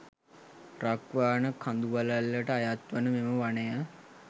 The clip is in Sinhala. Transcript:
රක්වාන කඳුවළල්ලට අයත්වන මෙම වනය